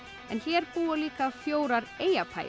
en hér búa líka fjórar